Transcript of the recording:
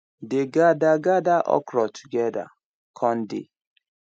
dey gather gather okra together con dey